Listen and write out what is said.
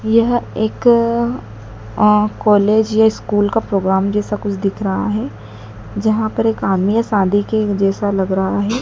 यह एक अं कॉलेज या स्कूल का प्रोग्राम जैसा कुछ दिख रहा है जहां पर एक आदमी है शादी के जैसा लग रहा है।